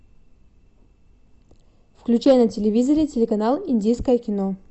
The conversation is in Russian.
включай на телевизоре телеканал индийское кино